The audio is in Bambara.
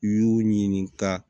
U y'u ɲininka